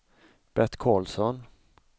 Bert Carlsson